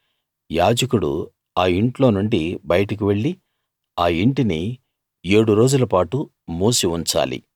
యాజకుడు ఆ ఇంట్లో నుండి బయటకు వెళ్ళి ఆ ఇంటిని ఏడు రోజులపాటు మూసి ఉంచాలి